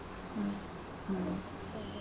ಹ್ಮ್ ಹ್ಮ್.